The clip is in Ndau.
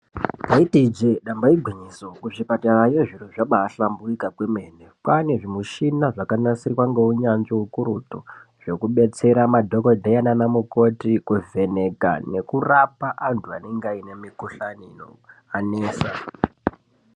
Ndaiti ijee damba igwinyiso kuzvipatarayo zviro zvabahlamburika kwemena, kwane zvimushina zvakanasirwa ngeunyanzvi ukurutu zvekubetsera madhokodheya nana mukoti kuvheneka nekurapa antu anenge ane mikhuhlani iyo yanesa.